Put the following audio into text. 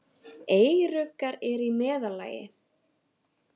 Eyruggar eru í meðallagi.